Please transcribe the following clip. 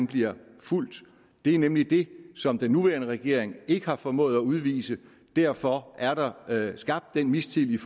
bliver fulgt det er nemlig det som den nuværende regering ikke har formået at udvise derfor er der skabt den mistillid